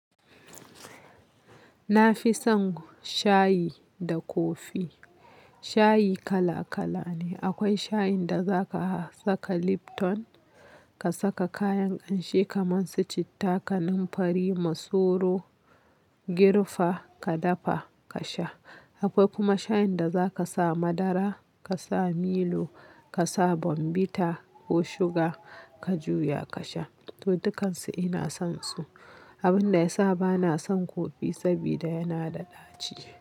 Na fi son shayi da kofi. Shayi kala kala ne. Akwai shayin da za ka saka Lipton, ka saka kayan ƙanshi kamar su citta, kanamfari, masoro, gerfa ka dafa ka sha. Akwai kuma shayin da za ka sa madara, ka sa Milo, ka sa bombita ko shuga ka juya ka sha. To, dukan su ina son su. Abin da ya sa ba na son kofi saboda yana da ɗaci.